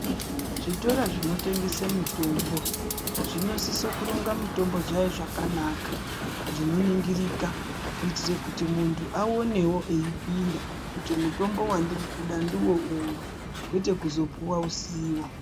Zvitoro zvinotengese mitombo zvinosise kuronga mitombo dzayo zvakanaka, zvinoningirika, kuitira kuti muntu aonewo eipinda kuti mutombo wandirikuda ndiwo uyu, kwete kuzopuwa usiwo.